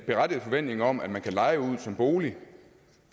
berettiget forventning om at man kunne leje ud som bolig